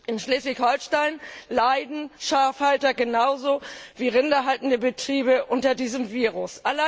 In Schleswig Holstein leiden Schafhalter genauso wie Rinder haltende Betriebe unter diesem Virus.